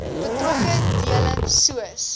betrokke dele soos